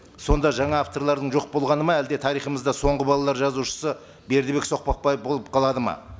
сонда жаңа авторлардың жоқ болғаны ма әлде тарихымызда соңғы балалар жазушысы бердібек соқпақбаев болып қалады ма